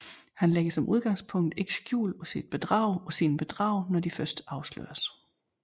Han lægger som udgangspunkt ikke skjul på sine bedrag når de først afsløres